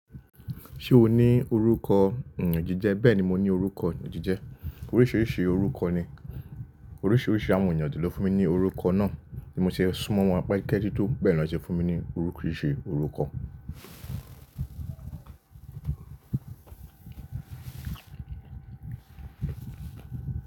Ṣé o ní orúkọ iyan jije? Bẹ́ẹ̀ni, mo ní orúkọ iyan jije. Oríṣiríṣi orúkọ ni oríṣiríṣi àwọn ènìyàn je lọ fún mi ní orúkọ náà tí mo ṣe sún mọ́ wọn pe keju tó bẹ́ẹ̀ lọ ṣe fún mi ní oríṣiríṣi orúkọ.